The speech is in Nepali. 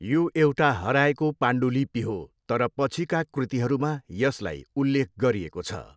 यो एउटा हराएको पाण्डुलिपि हो तर पछिका कृतिहरूमा यसलाई उल्लेख गरिएको छ।